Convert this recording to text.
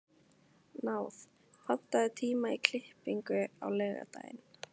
Náð, pantaðu tíma í klippingu á laugardaginn.